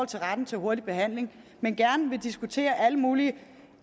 til retten til hurtig behandling men gerne vil diskutere alle mulige